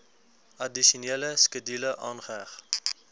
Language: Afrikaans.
addisionele skedule aangeheg